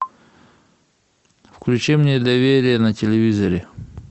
включи мне доверие на телевизоре